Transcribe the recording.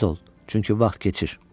Tez ol, çünki vaxt keçir.